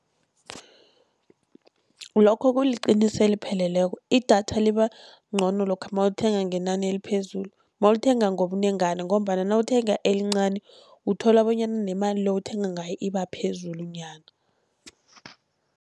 Lokho kuliqiniso elipheleleko, idatha liba ncono lokha mawulithenga ngenani eliphezulu, mawulithenga ngobunengana, ngombana nawuthenga elincani uthola bonyana nemali le owuthenga ngayo iba phezulu nyana.